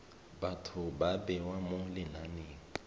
batho ba bewa mo lenaneng